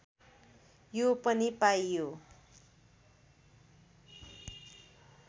यो पनि पाइयो